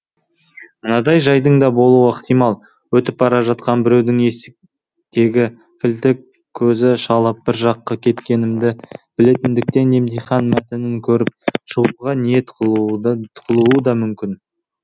мынадай жайдың да болуы ықтимал өтіп бара жатқан біреудің есіктегі кілтті көзі шалып бір жаққа кеткенімді білетіндіктен емтихан мәтінін көріп шығуға ниет қылуы да мүмкін